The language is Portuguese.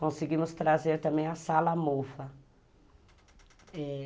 Conseguimos trazer também a Sala Mova, é...